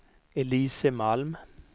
Elise Malm